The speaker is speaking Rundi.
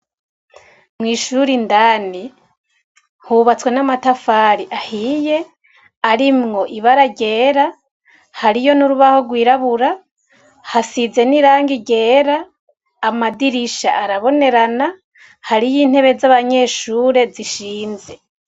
Mwishure indani hubatswe namatafari ahiye arimwo ibara ryera harimwo nurubaho rwirabura hasize nirangi ryera amadirisha arabonerana hariyintebe zabanyeshure zishinze